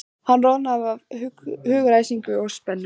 Hann roðnar af hugaræsingi og spennu.